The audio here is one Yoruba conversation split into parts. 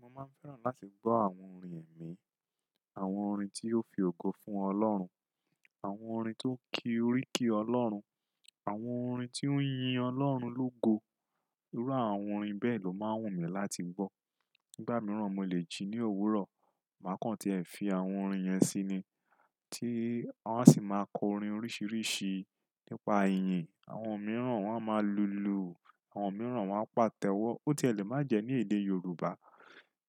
Mo máa ń fẹ́ràn láti gbọ́ àwọn orin ẹ̀mí, àwọn orin tí ó fi ògo fún Ọlọ́run, àwọn orin tó ń kí oríkì Ọlọ́run, àwọn orin tí ó ń yin Ọlọ́run lógo. Irú àwọn orin bẹ́ẹ̀ ló máa wù mí láti gbọ́. Nígbà mìíràn mo lè jí ní òwúrọ̀, mà kàn tí ẹ fi àwọn orin yẹn sí ni. Tí wọ́n á sì máa kọ orin oríṣiríṣi nípa ìyìn. Àwọn mìíràn wọ́n á máa lùlù, àwọn mìíràn wọ́n á pàtẹ́wọ́. Ó tiẹ̀ lè má jẹ ní èdè Yorùbá,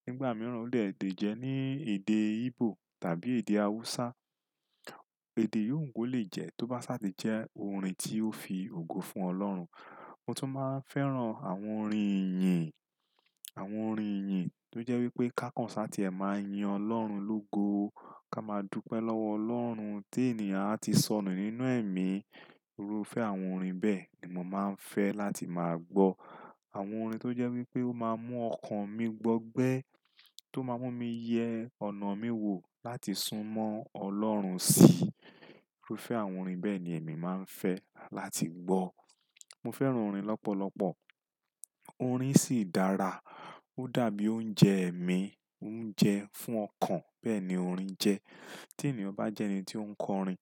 nígbà mìíràn ó lè dé jẹ ní èdè Igbo tàbí èdè Hausa. Èdè yùn ko lè jẹ tó bá sáà ti jẹ́ orin tí ó fi ògo fún Ọlọ́run. Mo tún máa ń fẹ́ràn àwọn orin ìyìn, àwọn orin ìyìn tó jẹ́ wípé ká kàn sáà tí ẹ máa yin Ọlọ́run lógo, ká máa dúpẹ́ lọ́wọ Ọlọ́run tí ènìyàn á ti sọnù nínú ẹ̀mí. Irúfẹ́ àwọn orin bẹ́ẹ̀ ni mo máa ń fẹ́ láti máa gbọ́. Àwọn orin tó jẹ́ wípé ó máa ń mú ọkàn mi gbọgbẹ́, tó máa ń mú mi yẹ ọ̀nà mi wò láti súnmọ́ Ọlọ́run sí. Irúfẹ́ àwọn orin bẹ́ẹ̀ ni èmi máa ń fẹ́ láti gbọ́. Mo fẹ́ràn orin lọ́pọ̀lọ́pọ̀. Orin sì dára. Ó dàbí oúnjẹ ẹ̀mí, ó ń jẹ fún ọkàn, bẹ́ẹ̀ ni orin jẹ́. Tí ènìyàn bá jẹ́ ẹni tí ó ń kọ orin,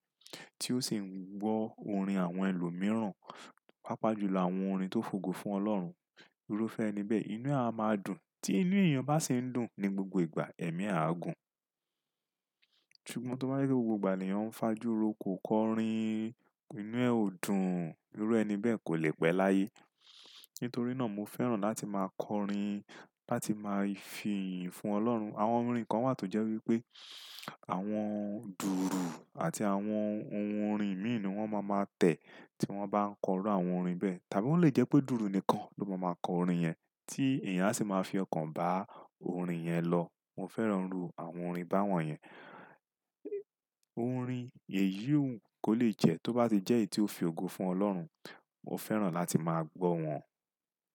tí ó sì ń gbọ́ orin àwọn ẹlòmíràn, pàápàá jùlọ àwọn orin tó fògo fún Ọlọ́run. Irúfẹ́ ẹni bẹ́ẹ̀, inú á máa dùn. Tí inú èèyàn bá ṣe ń dùn ní gbogbo ìgbà, ẹ̀mí á gùn. Ṣùgbọ́n tó bá yí pé gbogbo ènìyàn ń fajú roko kọ orin, inú ẹ ò dùn, irú ẹni bẹ́ẹ̀ kò lè pẹ́ láyé. Nítorí náà mo fẹ́ràn láti máa kọ orin, láti máa fi ìyìn fún Ọlọ́run. Àwọn orin kan wà tó jẹ́ wípé àwọn dùùrù àti àwọn ohun orin mìíràn ni wọ́n máa ń má tẹ̀ tí wọ́n bá ń kọ irú àwon orin bẹ́ẹ̀. Tàbí ó lè jẹ́ pé dùùrù nìkan ló máa máa kọ orin yẹn, tí èèyàn á sì máa fi ọkàn bá orin yẹn lọ. Mo fẹ́ràn irú àwọn orin báwọ́n yẹn. Orin èyí kò lè jẹ tó bá ti jẹ́ èyí tí ó fi ògo fún Ọlọ́run. Mo fẹ́ràn láti máa gbọ́ wọn.